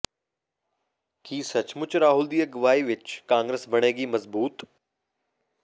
ਕੀ ਸੱਚਮੁੱਚ ਰਾਹੁਲ ਦੀ ਅਗਵਾਈ ਵਿਚ ਕਾਂਗਰਸ ਬਣੇਗੀ ਮਜਬੂਤ